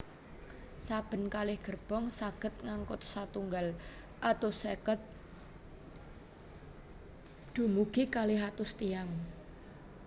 Saben kalih gerbong saged ngangkut setunggal atus seket dumugi kalih atus tiyang